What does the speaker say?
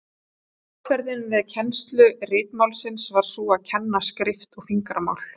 Aðferðin við kennslu ritmálsins var sú að kenna skrift og fingramál.